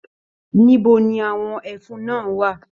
Níbo ni àwọn ẹfun náà wà?